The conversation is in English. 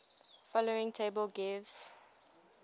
following table gives